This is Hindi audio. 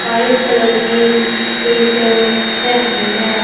व्हाइट कलर की टी शर्ट पहनी है।